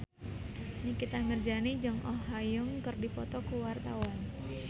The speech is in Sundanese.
Nikita Mirzani jeung Oh Ha Young keur dipoto ku wartawan